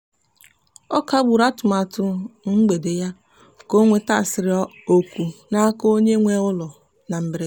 ọ kagburu atụmatụ mgbede ya ka o nwetasịrị oku n'aka onye nwe ụlọ na mberede.